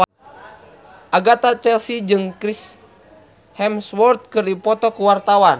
Agatha Chelsea jeung Chris Hemsworth keur dipoto ku wartawan